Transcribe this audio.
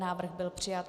Návrh byl přijat.